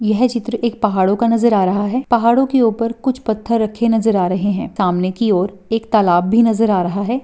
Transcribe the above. यह चित्र एक पहाड़ो का नज़र आ रहा है पहाड़ो के ऊपर कुछ पत्थर रखे नज़र आ रहे है सामने की और एक तालाब भी नज़र आ रहा है।